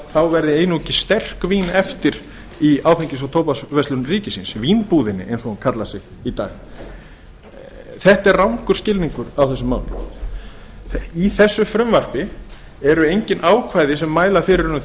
þá verði einungis sterk vín eftir í áfengis og tóbaksverslun ríkisins vínbúðinni eins og hún kallar sig í dag þetta er rangur skilningur á þessu máli í þessu frumvarpi eru engin ákvæði sem mæla fyrir um